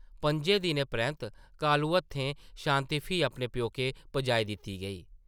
पंʼजें दिनें परैंत्त कालू हत्थें शांति फ्ही अपने प्योकै पजाई दित्ती गेई ।